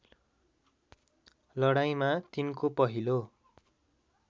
लडाईँँमा तिनको पहिलो